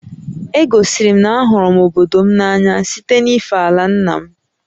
E gosiri m na a hụrụ m obodo m n'anya site na-ife àlà ńnà m